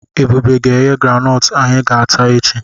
Ebube ga-eghe granọọtụ anyị ga-ata echi.